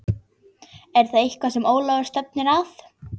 Er það eitthvað sem Ólafur stefnir að?